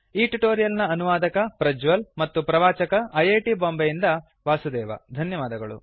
ಈ ಟ್ಯುಟೋರಿಯಲ್ ನ ಅನುವಾದಕ ಪ್ರಜ್ವಲ್ ಮತ್ತು ಪ್ರವಾಚಕ ಐಐಟಿ ಬಾಂಬೆಯಿಂದ ವಾಸುದೇವ ಧನ್ಯವಾದಗಳು